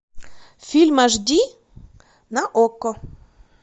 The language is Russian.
фильм аш ди на окко